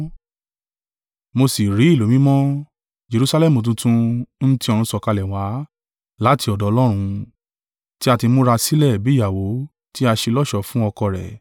Mo sì rí ìlú mímọ́, Jerusalẹmu tuntun ń ti ọ̀run sọ̀kalẹ̀ wá láti ọ̀dọ̀ Ọlọ́run, tí a ti múra sílẹ̀ bí ìyàwó tí a ṣe lọ́ṣọ̀ọ́ fún ọkọ rẹ̀.